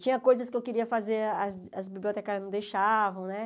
Tinha coisas que eu queria fazer, as as bibliotecárias não deixavam, né?